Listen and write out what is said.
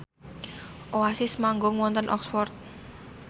Oasis manggung wonten Oxford